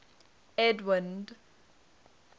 edwind